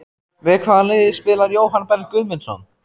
Með hvaða liði spilar Jóhann Berg Guðmundsson?